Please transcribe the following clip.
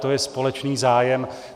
To je společný zájem.